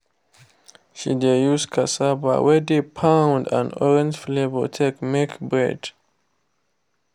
she dey use cassava wey de pound and orange flavour take make bread